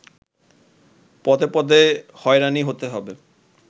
পদে পদে হয়রানি হতে হবে